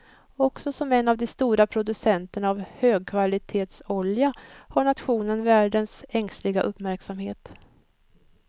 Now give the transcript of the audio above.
Också som en av de stora producenterna av högkvalitetsolja har nationen världens ängsliga uppmärksamhet.